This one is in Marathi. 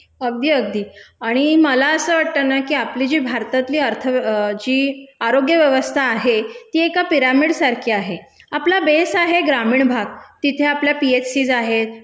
अगदी, अगदी. आणि मला असं वाटतं ना की आपली जी भारतातली अर्थव्य, जी आरोग्य व्यवस्था आहे ती एका पिरामिड सारखी आहे. आपला बेस आहे ग्रामीण भाग, तिथे आपल्या पीएचसीस आहेत,